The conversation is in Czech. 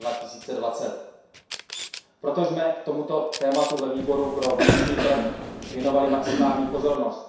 2020. Proto jsme tomuto tématu ve Výboru pro vnitřní trh věnovali maximální pozornost.